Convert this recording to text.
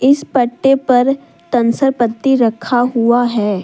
इस पट्टे पर पेंसिल पत्ती रखा हुआ है।